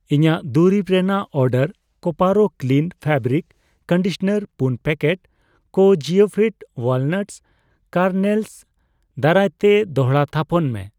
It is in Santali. ᱤᱧᱟᱜ ᱫᱩᱨᱤᱵᱽ ᱨᱮᱱᱟᱜ order Koparo clean fabric conditioner ᱯᱩᱱ ᱯᱮᱠᱮᱴ ᱠᱚ ᱡᱤᱭᱳᱯᱷᱤᱴ ᱣᱟᱞᱱᱟᱴ ᱠᱮᱨᱱᱮᱞᱥ ᱫᱟᱨᱟᱭᱛᱮ ᱫᱚᱲᱦᱟ ᱛᱷᱟᱯᱚᱱ ᱢᱮ ᱾